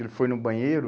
Ele foi no banheiro...